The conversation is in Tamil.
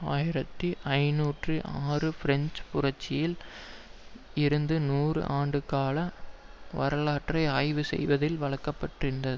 ஆயிரத்தி ஐநூற்று ஆறு பிரெஞ்சு புரட்சியில் இருந்து நூறு ஆண்டு கால வரலாற்றை ஆய்வு செய்ததில் வளர்க்கப்பட்டிருந்தது